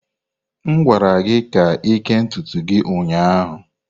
M gwara gị ka kee ntutu gị ụnyaahụ!